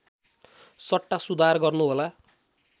सट्टा सुधार गर्नुहोला